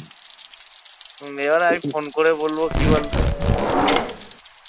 হম এবার আমি ফোন করে বলবো কি বলতো?